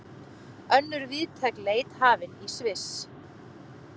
Önnur víðtæk leit hafin í Sviss